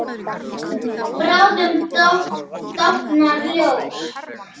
Það stóð þó stutt yfir.